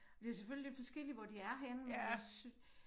Det selvfølgelig lidt forskelligt hvor de er henne men jeg synes